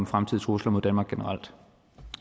fremtidige trusler mod danmark generelt